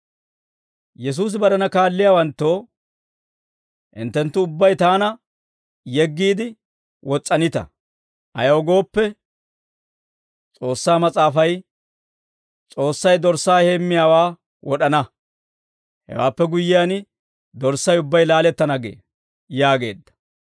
Yesuusi barena kaalliyaawanttoo, «Hinttenttu ubbay taana yeggiide wos's'anita; ayaw gooppe, S'oossaa Mas'aafay, ‹S'oossay dorssaa heemmiyaawaa wod'ana; hewaappe guyyiyaan dorssay ubbay laalettana gee› yaageedda.